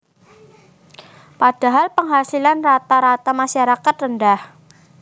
Padahal penghasilan rata rata masyarakat rendah